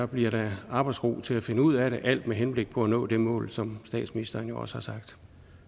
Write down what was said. bliver der da arbejdsro til at finde ud af det alt med henblik på at nå det mål som statsministeren jo også har sagt